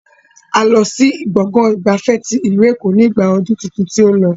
A lọ sí gbọ̀ngàn ìgbafẹ́ tí ìlú Èkó ni igba ọdún tuntun tí ó lọ.